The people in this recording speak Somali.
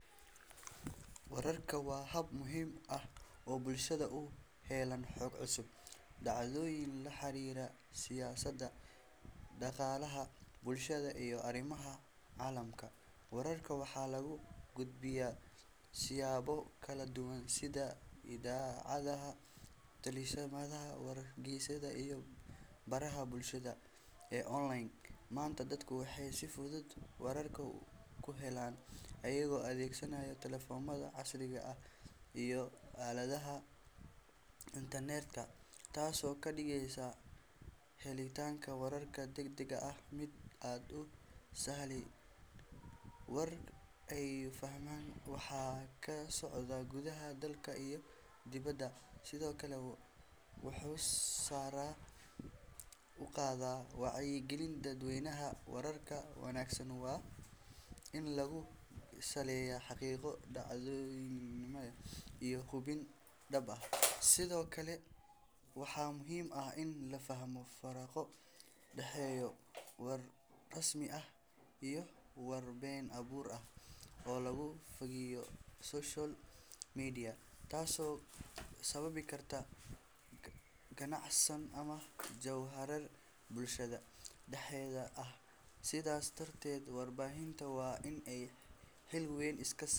Wararka waa hab muhiim ah oo bulshada u helaan xog cusub, dhacdooyin la xiriira siyaasadda, dhaqaalaha, bulshada, iyo arrimaha caalamka. Wararka waxaa lagu gudbiyaa siyaabo kala duwan sida idaacadaha, telefishinada, wargeysyada, iyo baraha bulshada ee online. Maanta, dadku waxay si fudud wararka ku helaan iyagoo adeegsanaya taleefannada casriga ah iyo aaladaha internetka, taasoo ka dhigaysa helitaanka warar degdeg ah mid aad u sahlan. War wanaagsan wuxuu bulshada ka caawiyaa in ay fahmaan waxa ka socda gudaha dalka iyo dibadda, sidoo kale wuxuu sare u qaadaa wacyiga dadweynaha. Wararka wanaagsan waa in lagu saleeyaa xaqiiqo, dhexdhexaadnimo, iyo hubin dhab ah. Sidoo kale, waxaa muhiim ah in la fahmo faraqa u dhexeeya war rasmi ah iyo war been abuur ah oo lagu faafiyo social media, taasoo sababi karta kacsanaan ama jahawareer bulshada dhexdeeda ah. Sidaas darteed, warbaahinta waa in ay xil weyn iska.